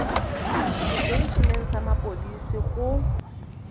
setei eneng sa mapodisi go